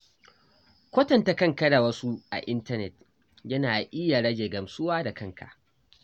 Kwatanta kanka da wasu a intanet yana iya rage gamsuwa da kanka.